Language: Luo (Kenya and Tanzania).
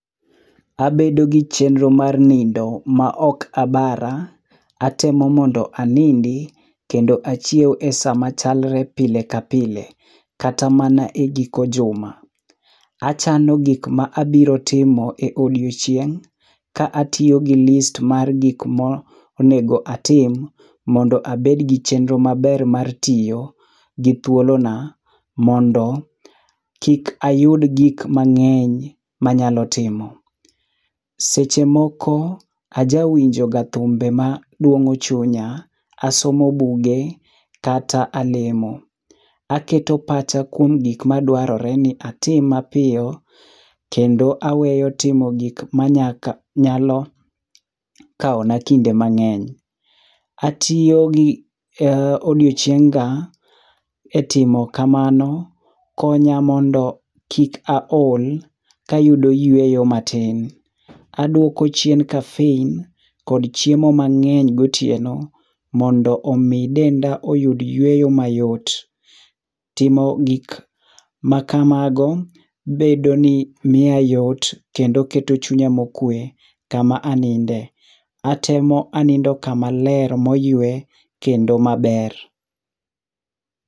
Abedo gi chenro mar nindo maok abara. Atemo mondo anindi, kendo achiew e sa machalre pile ka pile. Kata mana e giko juma. Achano gik ma abirotimo e odiochieng', ka atiyo gi list mar gikmonego atim mondo abed gi chenro maber mar tiyo gi thuolona, mondo kik ayud gikmang'eny manyalo timo. Seche moko, ajawinjoga thumbe madwong'o chunya, asomo buge, kata alemo. Aketo pacha kuom gik madwarore ni atim mapiyo, kendo aweyo timo gik manyalo kawona kinde mang'eny. Atiyo gi odiochienga e timo kamano, konya mondo kik aol kayudo yueyo matin. Adwoko chien caffeine kod chiemo mang'eny gotieno, mo ndo omi denda oyud yueyo mayot. Timo gikmakago, bedo ni miya yot kendo keto chunya mokwe kama aninde. Atemo anindo kama ler moyue kendo maber.